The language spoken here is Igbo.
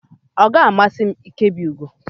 ọ ga-amasị m ịkebe ugo